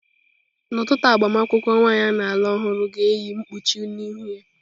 N'ọtụtụ agbamakwụkwọ, nwanyị a na-alụ ọhụrụ ga-eyi mkpuchi n'ihu ya.